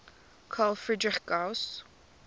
carl friedrich gauss